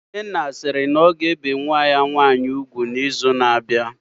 Nnenna sịrị na ọ ga-ebe nwa ya nwaanyị ugwu na izu na abịa